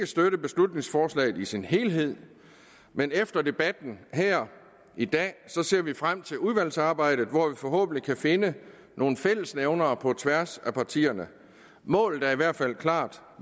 støtte beslutningsforslaget i sin helhed men efter debatten her i dag ser vi frem til udvalgsarbejdet hvor vi forhåbentlig kan finde nogle fællesnævnere på tværs af partierne målet er i hvert fald klart